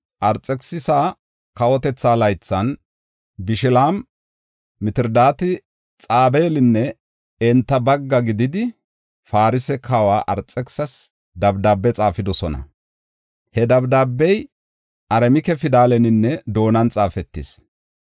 Arxekisisa kawotetha laythan, Bishilaami, Mitridaati, Xabeelinne enta bagga gididi, Farse kawa Arxekisisas dabdaabe xaafidosona; he dabdaabey Aramike pidaleninne doonan xaafetis.